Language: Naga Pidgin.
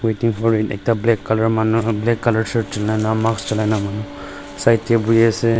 ekta black colour manu black colour shirt choila mask choila na manu side dae boi asae.